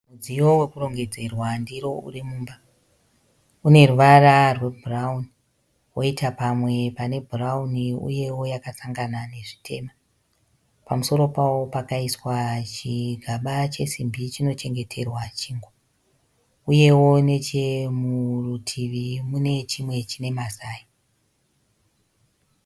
Mudziyo wokurongedzerwa ndiro uri mumba. Une ruvara rwebhurauni woita pamwe pane bhurauni uyewo yakasangana nezvitema. Pamusoro pawo pakaiswa chigaba chesimbi chinochengeterwa chingwa. Uyewo nechemurutivi mune chimwe chine mazai.